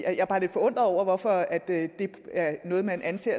er bare lidt forundret over hvorfor det er noget man anser